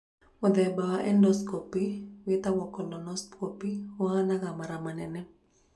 Mũthemba wa endoscopy wĩtagwo colonoscopy ũhanaga mara manene.